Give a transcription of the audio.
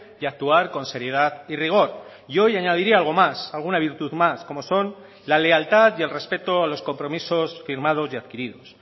y actuar con seriedad y rigor y hoy añadiría algo más alguna virtud más como son la lealtad y el respeto a los compromisos firmados y adquiridos